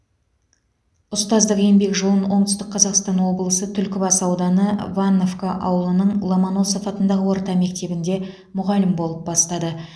ұстаздық еңбек жолын оңтүстік қазақстан облысы түлкібас ауданы ванновка ауылының ломоносов атындағы орта мектебінде мұғалім болып бастады